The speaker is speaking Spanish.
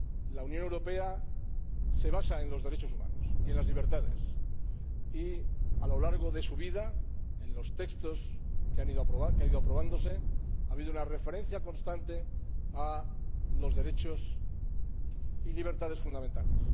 La Unión Europea se basa en los derechos humanos y en las libertades y, a lo largo de su vida, en los textos que han ido aprobándose, ha habido una referencia constante a los derechos y libertades fundamentales.